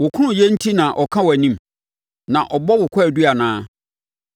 “Wo kronnyɛ enti na ɔka wʼanim na ɔbɔ wo kwaadu anaa?